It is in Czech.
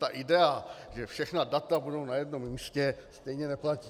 Ta idea, že všechna data budou na jednom místě, stejně neplatí.